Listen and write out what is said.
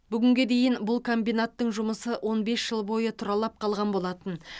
бүгінге дейін бұл комбинаттың жұмысы он бес жыл бойы тұралап қалған болатын